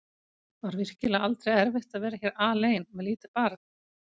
Var virkilega aldrei erfitt að vera hér alein með lítið barn?